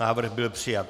Návrh byl přijat.